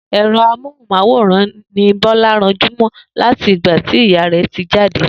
È̩ro̩ amóhùn-máwòrán ni Bó̩lá ranjú mó̩ láti ìgbà tí ìyá rè̩ ti jáde